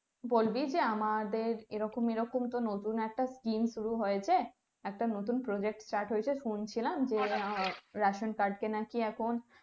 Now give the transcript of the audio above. বলবি যে আমাদের এরকম এরকম নতুন একটা scheme শুরু হয়েছে একটা নতুন project start শুনছিলাম তো ration card কে নাকি এখন